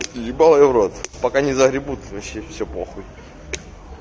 ебал я в рот пока не загребут вообще все похуй